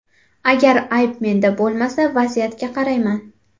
Agar ayb menda bo‘lmasa, vaziyatga qarayman.